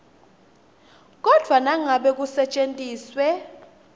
kodvwa nangabe kusetjentiswe